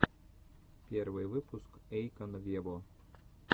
первый выпуск эйкон вево